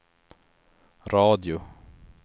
radio